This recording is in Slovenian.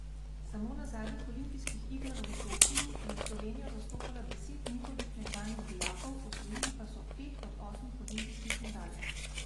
Samo na zadnjih olimpijskih igrah v Sočiju je Slovenijo zastopalo deset njihovih nekdanjih dijakov, osvojili pa so pet od osmih olimpijskih medalj.